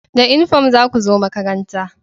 Da inifam za ku zo makaranta!